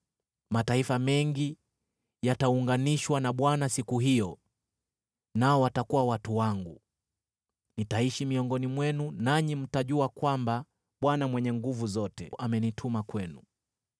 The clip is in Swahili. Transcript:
“Mataifa mengi yataunganishwa na Bwana siku hiyo, nao watakuwa watu wangu. Nitaishi miongoni mwenu nanyi mtajua kwamba Bwana Mwenye Nguvu Zote amenituma kwenu.